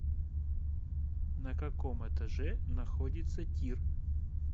на каком этаже находится тир